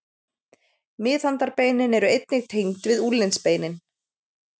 Miðhandarbeinin eru einnig tengd við úlnliðsbeinin.